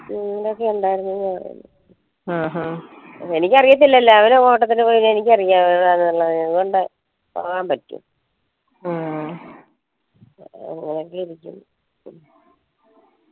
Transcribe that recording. ഇവരൊക്കെ ഇണ്ടായിരുന്നു എനിക്കറിയത്തില്ലല്ലോ അവരോട്ടത്തിന് പോയി എനിക്കാരോ അതുകൊണ്ട് ഉറങ്ങാൻ പറ്റി